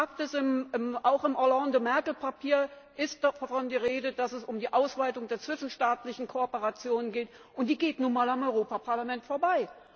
Fakt ist, auch im Hollande Merkel Papier ist davon die Rede, dass es um die Ausweitung der zwischenstaatlichen Kooperation geht, und die geht nun mal am Europaparlament vorbei!